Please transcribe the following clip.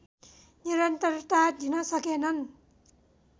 निरन्तरता दिन सकेनन्